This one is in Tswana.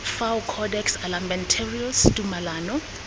sk fao codex almentarius tumalano